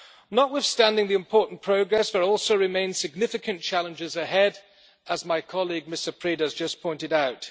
Notwithstanding the important progress, there also remain significant challenges ahead, as my colleague, Mr Preda, has just pointed out.